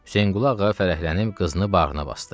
Hüseynqulu Ağa fərəhlənib qızını bağrına basdı.